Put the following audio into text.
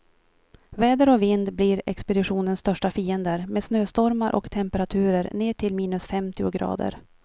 Väder och vind blir expeditionens största fiender, med snöstormar och temperaturer ner till minus femtio grader.